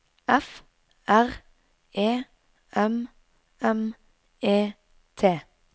F R E M M E T